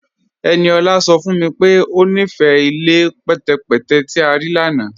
Ẹniọla sọ fún mí pé o nífé ilẹ̀ pẹtẹ̀pẹtẹ̀ tí a rí lána